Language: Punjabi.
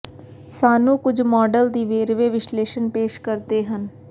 ਸਾਨੂੰ ਕੁਝ ਮਾਡਲ ਦੀ ਵੇਰਵੇ ਵਿਸ਼ਲੇਸ਼ਣ ਪੇਸ਼ ਕਰਦੇ ਹਨ